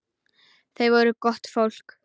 Þau voru gott fólk.